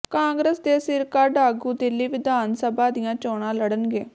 ਕਾਂਗਰਸ ਦੇ ਸਿਰਕੱਢ ਆਗੂ ਦਿੱਲੀ ਵਿਧਾਨ ਸਭਾ ਦੀਆਂ ਚੋਣਾਂ ਲੜਨਗੇ